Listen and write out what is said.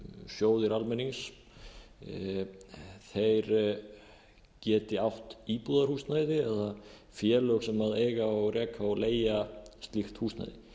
sjóðir almennings geti átt íbúðarhúsnæði eða félög sem eiga og reka og leigja slíkt húsnæði